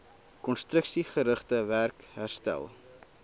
konstruksiegerigte werk herstel